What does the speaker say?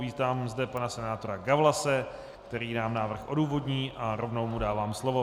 Vítám zde pana senátora Gawlase, který nám návrh odůvodní, a rovnou mu dávám slovo.